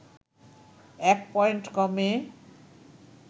১ point কমে